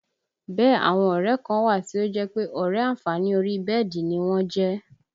Bẹ́ẹ̀ àwọn ọ̀rẹ́ ẹ kan wà tí ó jẹ́ pé ọ̀rẹ́ àǹfààní orí bẹ́ẹ̀dì ni wọ́n jẹ́